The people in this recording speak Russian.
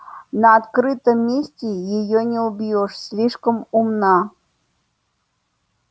на открытом месте её не убьёшь слишком умна